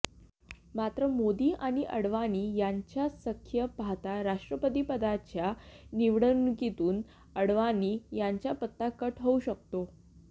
मात्र मोदी आणि अडवाणी यांचे सख्य पाहता राष्ट्रपतीपदाच्या निवडणुकीतून अडवाणी यांचा पत्ता कट होऊ शकतो